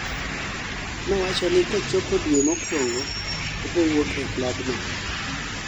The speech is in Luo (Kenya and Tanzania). mowachoni kochopo due mokwongo obowuok e klabno